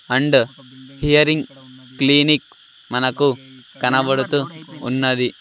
And hearing clinic మనకు కనబడుతూ ఉన్నది.